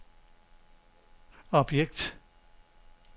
objekt